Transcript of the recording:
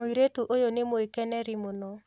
Mũirĩtu ũyũ nĩ mwĩkeneri mũno